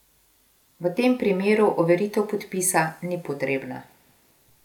V tem primeru overitev podpisa ni potrebna.